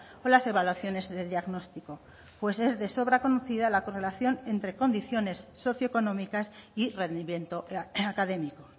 o las evaluaciones de diagnóstico pues es de sobra conocida la correlación entre condiciones socioeconómicas y rendimiento académico